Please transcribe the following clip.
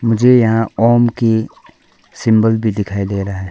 मुझे यहां ओम की सिंबल भी दिखाई दे रहा है।